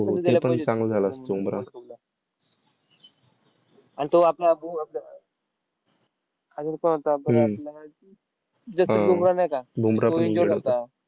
वीस